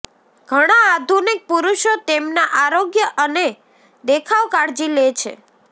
ઘણા આધુનિક પુરુષો તેમના આરોગ્ય અને દેખાવ કાળજી લે છે